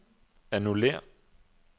annullér